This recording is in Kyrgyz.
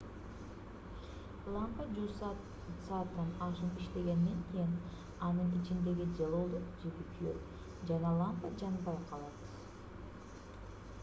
лампа жүз сааттан ашуун иштегенден кийин анын ичиндеги жылуулук жиби күйөт жана лампа жанбай калат